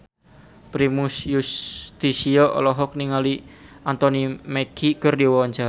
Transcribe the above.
Primus Yustisio olohok ningali Anthony Mackie keur diwawancara